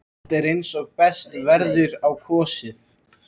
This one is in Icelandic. Allt er eins og best verður á kosið.